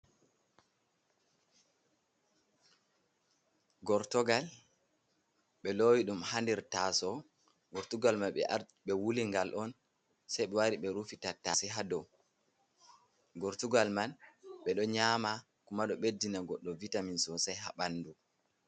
Gortogal ɓe loowi ɗum haa nder taaso, gortugal mai ɓe arti ɓe wuli ngal on, sai ɓe wari ɓe rufi tattase haa do, gortugal man ɓe ɗo nyama, kuma ɗo ɓeddina goɗɗo vitamin sosai haa ɓandu.